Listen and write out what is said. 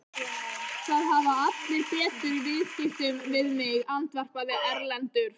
Það hafa allir betur í viðskiptum við mig, andvarpaði Erlendur.